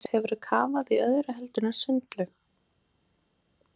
Jóhannes: Hefur þú kafað í öðru heldur en sundlaug?